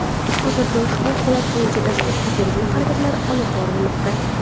Hozirda ushbu holat bo‘yicha dastlabki tergov harakatlari olib borilmoqda.